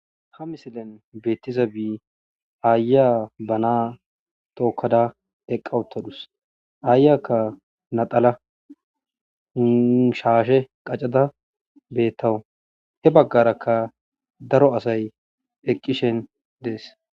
ha misilen beettiza bii aaya banaa tookkada eqqa uttadus aayyakka laxana shaashe qaccada beettawus he baggarakka daro asay eqqishe dees